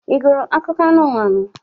Ị gụrụ akụkọ anụmanụ?